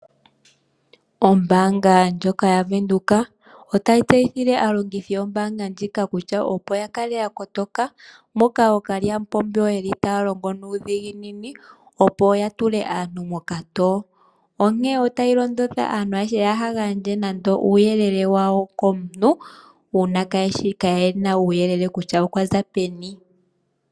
Ombaanga ndjoka yaVenduka otayi tseyithile aalongithi yombaanga ndjika kutya opo ya kale ya kotoka, moka ookalyamupombo yeli taya longo nuudhiginini opo ya tule aantu mokatowo. Onke otayi londodha aantu ayehe kaya gandje nande uuyelele wawo komuntu, una kayena uuyelele kutya okwa za peni.